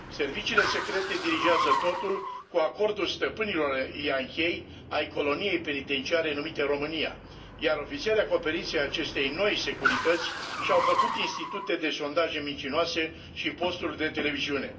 Serviciile secrete dirijează totul, cu acordul stăpânilor yankei ai coloniei penitenciare numite România, iar ofițerii acoperiți ai acestei noi Securități și au făcut institute de sondaje mincinoase și posturi de televiziune.